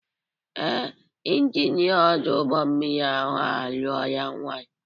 Ee, Injinia ọdụ ụgbọmmiri ahụ alụọla nwanyị.